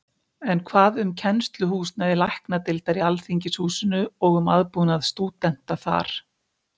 En hvað um kennsluhúsnæði Læknadeildar í Alþingishúsinu og um aðbúnað stúdenta þar?